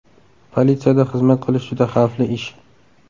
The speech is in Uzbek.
Politsiyada xizmat qilish juda xavfli ish.